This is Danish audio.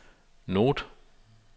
note